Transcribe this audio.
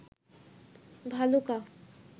Bhaluka